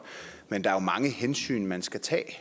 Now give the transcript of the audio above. men der er mange hensyn man skal tage